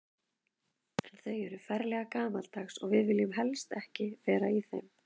En þau eru ferlega gamaldags og við viljum helst ekki vera í þeim.